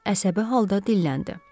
Qız əsəbi halda dilləndi.